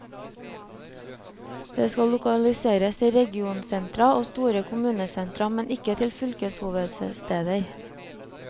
De skal lokaliseres til regionsentra og store kommunesentra, men ikke til fylkeshovedsteder.